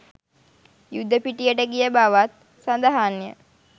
යුද පිටියට ගිය බවත් සඳහන් ය.